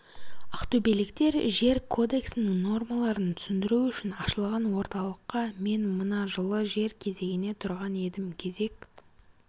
ақтөбеліктер жер кодексінің нормаларын түсіндіру үшін ашылған орталыққа мен мына жылы жер кезегіне тұрған едім кезек